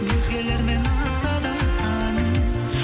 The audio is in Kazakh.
өзгелермен атса да таңың